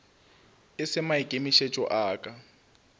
e se maikemišetšo a ka